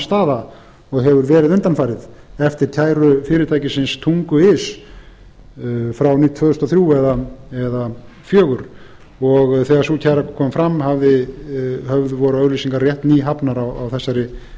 staða og hefur verið undanfarið eftir kæru fyrirtækisins tungu punktur is frá tvö þúsund og þrjú eða tvö þúsund og fjögur þegar sú kæra kom fram voru auglýsingar rétt nýhafnar á þessari